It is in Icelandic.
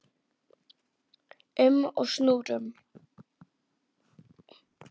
um og snúrum.